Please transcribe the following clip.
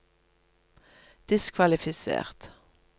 diskvalifisert